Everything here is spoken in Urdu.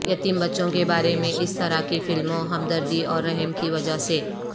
یتیم بچوں کے بارے میں اس طرح کی فلموں ہمدردی اور رحم کی وجہ سے